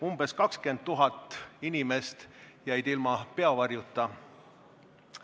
Umbes 20 000 inimest jäid peavarjuta.